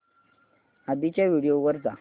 आधीच्या व्हिडिओ वर जा